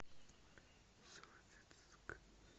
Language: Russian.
советск